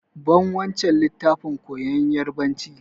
Ban wancan littafin koyan yarbanci!